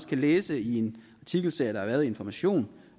kan læse i en artikelserie i information